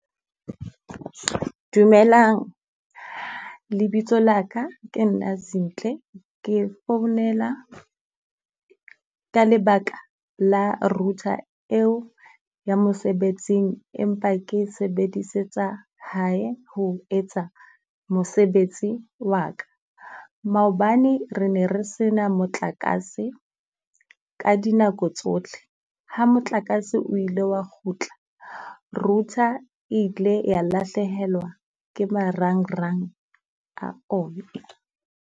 Dumelang lebitso la ka ke nna Zinhle, ke founela ka lebaka la router eo ya mosebetsing empa ke e sebedisetsa hae ho etsa mosebetsi wa ka. Maobane re ne re se na motlakase ka dinako tsotlhe. Ha motlakase o ile wa kgutla, router e ile ya lahlehelwa ke marangrang a ona.